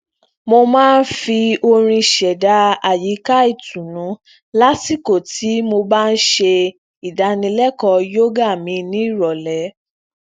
mo máa ń fi orin ṣeda ayika itunnu lasiko tí mo bá ń ṣe ìdánilékọọ yoga mi ní ìròlé